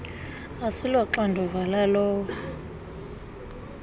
asilo xanduva lalowo